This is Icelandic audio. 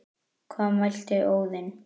Hvað mælti Óðinn